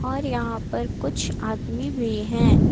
और यहां पर कुछ आदमी भी हैं।